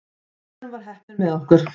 Í endanum var heppnin með okkur.